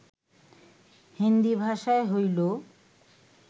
হিন্দী ভাষায় হইল